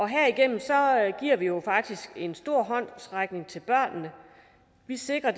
herigennem giver vi jo faktisk en stor håndsrækning til børnene vi sikrer